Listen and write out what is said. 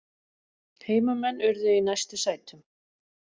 Heimamenn urðu í næstu sætum